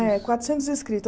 É, quatrocentos